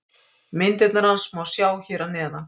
Myndirnar hans má sjá hér að neðan.